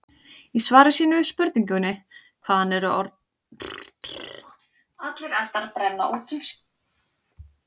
Í svari sínu við spurningunni Hvaðan eru orðin rétthentur og örvhentur komin?